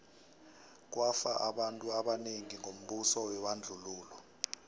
kwafa abantu abanengi ngombuso webandlululo